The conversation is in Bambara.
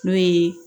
N'o ye